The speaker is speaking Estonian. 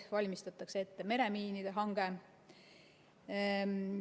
Valmistatakse ette meremiinide hanget.